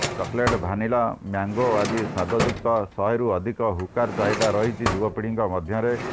chocolate vanilla mango ଆଦି ସ୍ୱାଦ ଯୁକ୍ତ ଶହେରୁ ଅଧିକ ହୁକାର ଚାହିଦା ରହିଛି ଯୁବପୀଢିଙ୍କ ମଧ୍ୟରେ